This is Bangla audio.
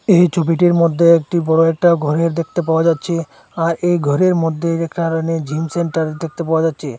এই ছবিটির মদ্যে একটি বড় একটা ঘরে দেখতে পাওয়া যাচ্ছে আর এই ঘরের মদ্যে রেখা রণে জিম সেন্টার দেখতে পাওয়া যাচ্চে।